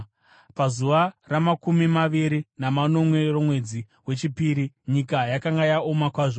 Pazuva ramakumi maviri namanomwe romwedzi wechipiri nyika yakanga yaoma kwazvo.